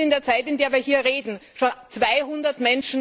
Das sind in der Zeit, in der wir hier reden, schon 200